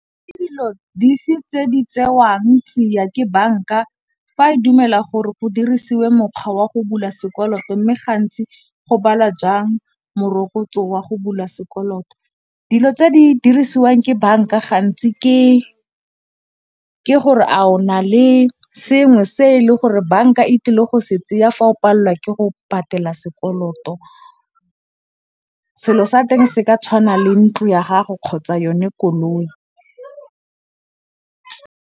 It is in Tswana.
Ke dilo dife tse di tsewang tsia ke banka fa e dumela gore go dirisiwe mokgwa wa go bula sekoloto mme gantsi go bala jang morokotso wa go bula sekoloto. Dilo tse di dirisiwang ke banka gantsi ke gore a o na le sengwe se e le gore banka e tlile go se tseya fa o pallwa ke go patela sekoloto. Selo sa teng se ka tshwana le ntlo ya gago kgotsa yone koloi.